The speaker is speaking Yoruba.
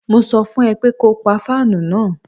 Mo sọ fún ẹ pé ko pa fáànù náà.